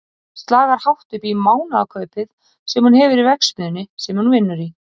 Það slagar hátt upp í mánaðarkaupið sem hún hefur í verksmiðjunni sem hún vinnur í.